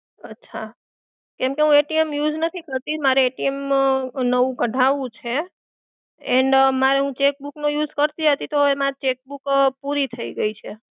અચ્છા, એમ તો હું use નથી કરતી મારે નવું કઢાવવું છે. એના માં હું cheque book નો use કરતી હતી તો એમાં cheque book પૂરી થઈ ગઈ છે.